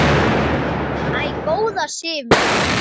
Æ, góða Sif mín!